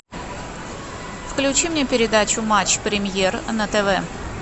включи мне передачу матч премьер на тв